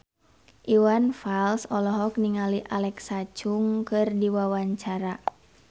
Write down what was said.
Iwan Fals olohok ningali Alexa Chung keur diwawancara